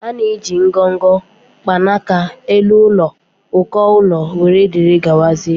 A na-eji ngọngọ, mkpanaka, elu ụlọ, uko ụlọ, wdg.